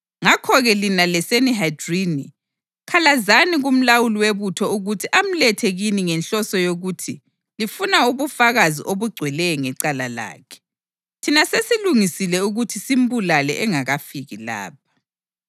Ngakho-ke lina leSanihedrini khalazani kumlawuli webutho ukuthi amlethe kini ngenhloso yokuthi lifuna ubufakazi obugcweleyo ngecala lakhe. Thina sesilungisile ukuthi simbulale engakafiki lapha.”